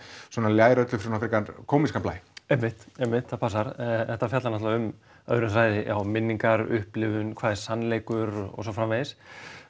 ljær öllu frekar kómískan blæ einmitt einmitt það passar þetta fjallar öðrum þræði um minningar upplifun hvað er sannleikur og svo framvegis